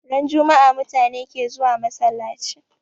Ran jummaa mutane ke zuwa masallachi